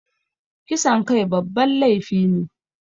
Kisan kai babban laifi ne